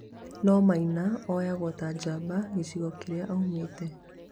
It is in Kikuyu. no maina oyagwo ta njamba gĩcigo kĩrĩa aumĩte.